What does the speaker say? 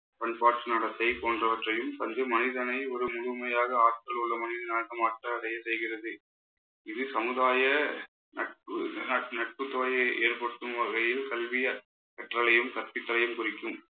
பண்பாட்டு நடத்தை போன்றவற்றையும் தந்து மனிதனை ஒரு முழுமையாக ஆற்றல் உள்ள மனிதனாக மாற்றம் அடைய செய்கிறது இது சமுதாய நட்பு நட்பு தொகையை ஏற்படுத்தும் வகையில் கல்வி கற்றலையும் கற்பித்தலையும் குறிக்கும்.